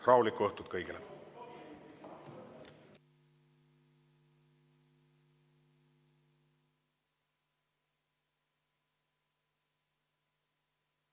Rahulikku õhtut kõigile!